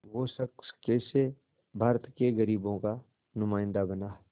वो शख़्स कैसे भारत के ग़रीबों का नुमाइंदा बना